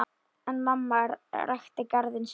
En amma ræktaði garðinn sinn.